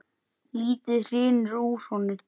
Lítið hrynur úr honum.